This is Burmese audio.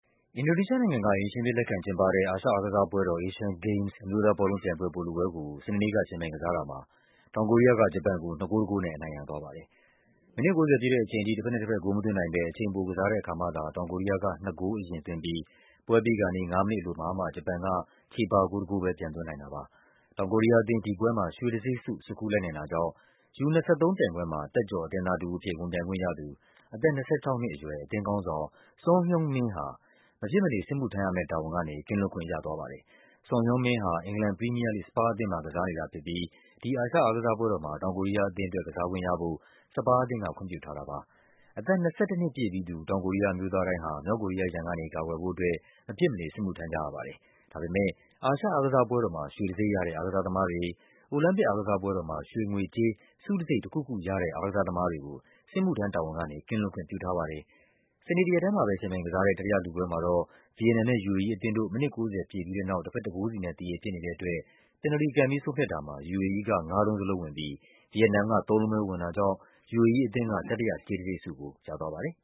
အင်ဒိုနီးရှားနိုင်ငံက အိမ်ရှင်အဖြစ် လက်ခံကျင်းပတဲ့ အာရှအားကစားပွဲတော် Asian Games အမျိုးသားဘောလုံးပြိုင်ပွဲ ဗိုလ်လုပွဲ ကို စနေနေ့က ယှဉ်ပြိုင်ကစားတာမှာ တောင်ကိုရီးယားက ဂျပန်ကို ၂ ဂိုး ၁ ဂိုးနဲ့ အနိုင်ရသွားပါတယ်။ မိနစ် ၉၀ ပြည့်တဲ့အချိန်ထိ တဘက်နဲ့တဘက် ဂိုးမသွင်းနိုင်ဘဲ အချိန်ပိုကစားတဲ့အခါမှသာ တောင်ကိုရီးယားက ၂ ဂိုး အရင်သွင်း ပြီး ပွဲပြီးခါနီး ၅ မိနစ်အလိုမှာမှ ဂျပန်က ချေပဂိုး ၁ ဂိုးပဲ ပြန်သွင်းနိုင်ပါတယ်။ တောင်ကိုရီးယားအသင်း ဒီပွဲမှာ ရွှေတံဆိပ်ဆု ဆွတ်ခူးလိုက်နိုင်တာကြောင့် U-23 ပြိုင်ပွဲမှာ သက်ကျော်အသင်းသားတဦးအဖြစ် ဝင်ပြိုင်ခွင့်ရသူ အသက် ၂၆ နှစ်အရွယ် အသင်းခေါင်းဆောင် Son Heung-min ဟာ မဖြစ်မနေ စစ်မှုထမ်းရမယ့်တာဝန်ကနေ ကင်းလွတ်ခွင့်ရသွားပါတယ်။ Son Heung-min ဟာ အင်္ဂလန် ပရီးမီးယားလိဂ် စပါးအသင်းမှာ ကစားနေတာဖြစ်ပြီး ဒီ အာရှ အားကစားပွဲတော်မှာ တောင်ကိုရီးယားအသင်းအတွက် ကစားခွင့်ရဖို့ စပါးအသင်းက ခွင့်ပြုထားတာပါ။ အသက် ၂၁ နှစ်ပြည့်ပြီးသူ တောင်ကိုရီးယား အမျိုးသားတိုင်းဟာ မြောက်ကိုရီးယားရန်ကနေ ကာကွယ်ဖို့အတွက် မဖြစ်မနေ စစ်မှုထမ်းကြရပါတယ်။ ဒါပေမဲ့ အာရှအားကစားပွဲတော်မှာ ရွှေတံဆိပ်ရတဲ့ အားကစားသမားတွေ၊ အိုလံပစ်အားကစားပွဲတော်မှာ ရွှေ၊ ငွေ၊ ကြေး ဆုတံဆိပ်တခုခုရတဲ့ အားကစားသမားတွေကို စစ်မှုထမ်းတာဝန်ကနေ ကင်းလွတ် ခွင့်ပြုထားပါတယ်။ စနေတရက်ထဲမှာပဲ ယှဉ်ပြိုင်ကစားတဲ့ တတိယလုပွဲမှာတော့ ဗီယက်နမ်နဲ့ UAE အသင်းတို့ မိနစ် ၉၀ ပြည့်ပြီးတဲ့နောက် တဘက် ၁ ဂိုးစီနဲ့ သရေဖြစ်နေတဲ့အတွက် ပန်နယ်လ်တီကန်ပြီး ဆုံးဖြတ်တာမှာ UAE က ငါးလုံးစလုံးဝင်ပြီး ဗီယက်နမ်က ၃ လုံးပဲ ဝင်တာ ကြောင့် UAE အသင်းက တတိယ ကြေးတံဆိပ်ကို ရသွားပါတယ်